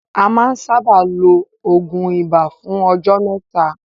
A má ń sábáà ló oògùn ibà fún ọjọ́ mẹ́ta.